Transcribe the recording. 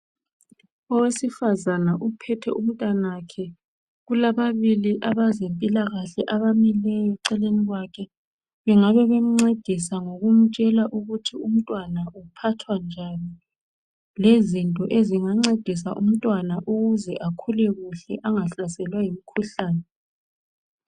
owesifazana uphethe umntanakhe kulababili abazempilakahle abamileyo eceleni bengabe bemcedisa ngokumtshela ukuthi umntwana uphathwa njani lezinto ezingancedisa umntwana ukuze akhule kuhle angahlaselwa yimkhuhlane